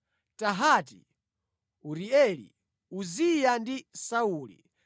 Tahati, Urieli, Uziya ndi Sauli.